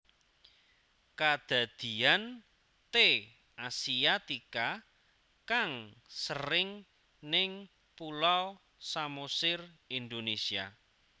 Kadadian T asiatica kang sering ning Pulau Samosir Indonésia